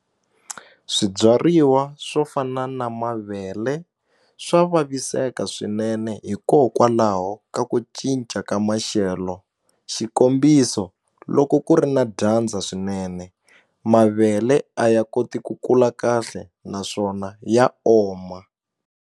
Swibyariwa swo fana na mavele swa vaviseka swinene hikokwalaho ka ku cinca ka maxelo xikombiso loko ku ri na dyandza swinene mavele a ya koti ku kula kahle naswona ya oma.